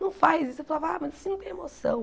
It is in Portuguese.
Não faz isso, eu falava ah mas assim não tem emoção.